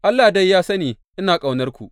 Allah dai ya sani ina ƙaunarku!